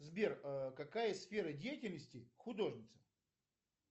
сбер какая сфера деятельности художница